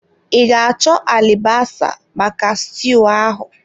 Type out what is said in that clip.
I ga achọ alibasa maka stuu ahụ.